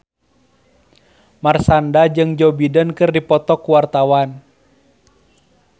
Marshanda jeung Joe Biden keur dipoto ku wartawan